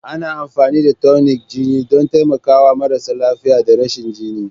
Ana amfani da tonic na jini don taimakawa marasa lafiya da rashin jini.